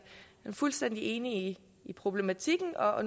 fuldstændig enig i problematikken og